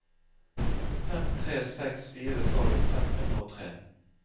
fem tre seks fire tolv fem hundre og tre